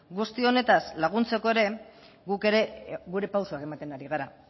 guzti honetaz laguntzeko ere guk ere gure pausuak ematen ari gara